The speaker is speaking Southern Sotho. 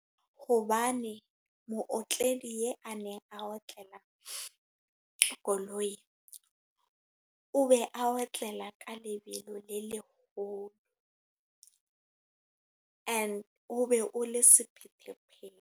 Hobane mootledi ya a neng a otlelang koloi. O be a otlela ka lebelo le leholo. And o be o le sephethephethe.